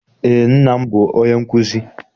Eé, nna m bụ onye nkụzi.